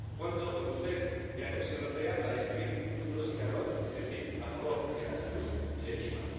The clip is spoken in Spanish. Cuento con usted y la Comisión Europea para escribir un futuro sin carbón, es decir, a favor de la salud y del clima.